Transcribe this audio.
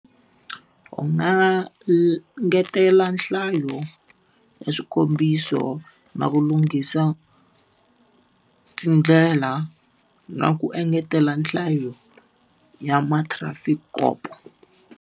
U nga ngetela nhlayo ya swikombiso na ku lunghisa tindlela, na ku engetela nhlayo ya ma-trafic kopo.